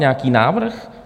Nějaký návrh?